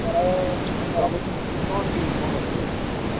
ଖରା